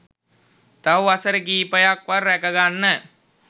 තව වසර කිහිපයක්වත් ‍රැකගන්න